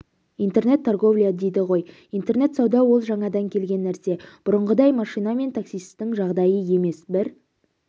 интернет торговля дейді ғой интернет сауда ол жаңадан келген нәрсе бұрынғыдай машинамен таситын жағдай емес бір